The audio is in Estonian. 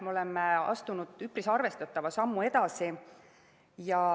Me oleme astunud üpris arvestatava sammu edasi.